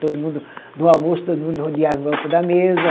Todo mundo, no almoço, todo mundo rodeava em volta da mesa.